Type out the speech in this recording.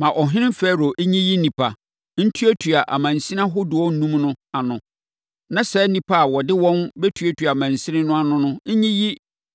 Ma ɔhene Farao nyiyi nnipa, ntuatua amansini ahodoɔ enum no ano. Na saa nnipa a wɔde wɔn bɛtuatua amansini no ano no nyiyi